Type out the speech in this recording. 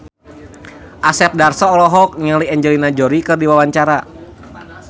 Asep Darso olohok ningali Angelina Jolie keur diwawancara